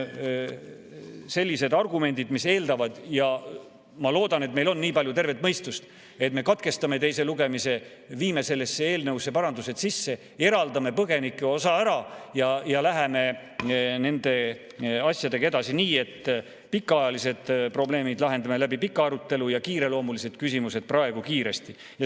Sellised argumendid eeldavad – ja ma loodan, et meil ongi nii palju tervet mõistust –, et me katkestame teise lugemise, viime sellesse eelnõusse parandused sisse, eraldame põgenike osa ära ja läheme nende asjadega edasi nii, et pikaajalised probleemid lahendame pika arutelu abil ja kiireloomulised küsimused praegu kiiresti.